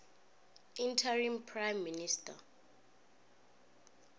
interim prime minister